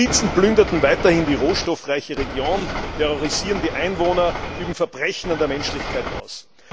Milizen plündern weiterhin die rohstoffreiche Region, terrorisieren die Einwohner, üben Verbrechen an der Menschlichkeit aus.